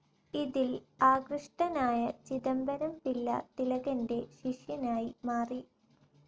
ഇതിൽ ആകൃഷ്ടനായ ചിദംബരം പിള്ള തിലകന്റെ ശിഷ്യനായി മാറി.